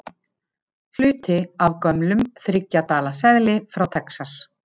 Hluti af gömlum þriggja dala seðli frá Texas.